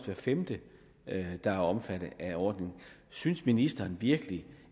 hver femte der er omfattet af ordningen synes ministeren virkelig